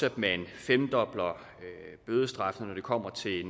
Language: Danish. at man femdobler bødestraffen når det kommer til